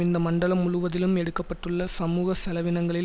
இந்த மண்டலம் முழுவதிலும் எடுக்க பட்டுள்ள சமூக செலவினங்களில்